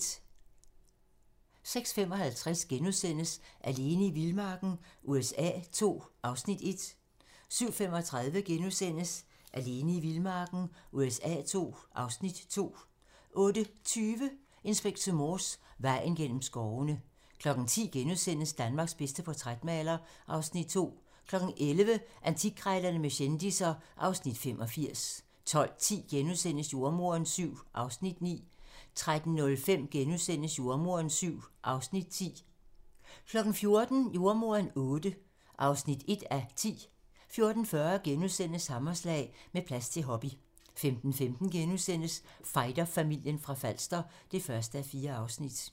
06:55: Alene i vildmarken USA II (Afs. 1)* 07:35: Alene i vildmarken USA II (Afs. 2)* 08:20: Inspector Morse: Vejen gennem skovene 10:00: Danmarks bedste portrætmaler (Afs. 2)* 11:00: Antikkrejlerne med kendisser (Afs. 85) 12:10: Jordemoderen VII (Afs. 9)* 13:05: Jordemoderen VII (Afs. 10)* 14:00: Jordemoderen VIII (1:10) 14:40: Hammerslag - Med plads til hobby * 15:15: Fighterfamilien fra Falster (1:4)*